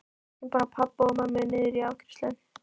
Sækjum bara pabba og mömmu niður í afgreiðslu!